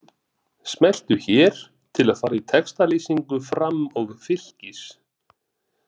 Smelltu hér til að fara í textalýsingu Fram og Fylkis